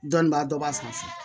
Dɔnnibaa dɔ b'a fan fɛ